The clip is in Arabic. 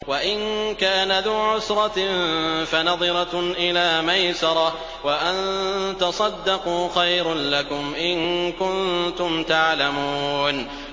وَإِن كَانَ ذُو عُسْرَةٍ فَنَظِرَةٌ إِلَىٰ مَيْسَرَةٍ ۚ وَأَن تَصَدَّقُوا خَيْرٌ لَّكُمْ ۖ إِن كُنتُمْ تَعْلَمُونَ